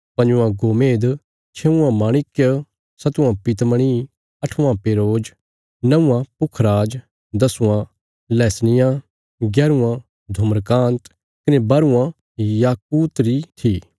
पंजवा गोमेद छेवां माणिक्य सतवां पीतमणि अठवां पेरोज नौआं पुखराज दसवां लहसनिया ग्यारवां धुम्रकान्त कने बाहरवां याकूत री थी